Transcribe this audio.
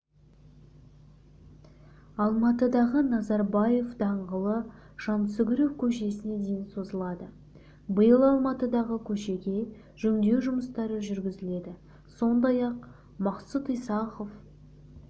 алматыдағы назарбаев даңғылы жансүгіров көшесіне дейін созылады биыл алматыдағы көшеге жөндеу жұмыстары жүргізіледі сондай-ақ мақсұт исахов